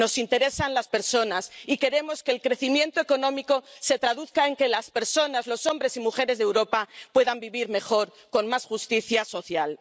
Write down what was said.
Nos interesan las personas y queremos que el crecimiento económico se traduzca en que las personas, los hombres y mujeres de Europa, puedan vivir mejor con más justicia social.